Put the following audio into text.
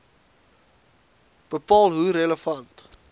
bepaal hoe relevant